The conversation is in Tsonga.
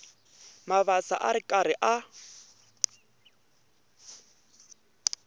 mabasa a ri karhi a